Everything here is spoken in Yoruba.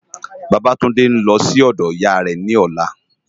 Babatunde n lò si òdò Iyá rè lòlá